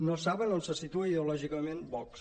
no saben on se situa ideològicament vox